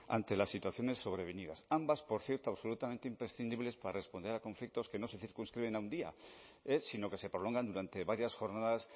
ante las situaciones sobrevenidas ambas por cierto absolutamente imprescindibles para responder a conflictos que no se circunscriben a un día sino que se prolongan durante varias jornadas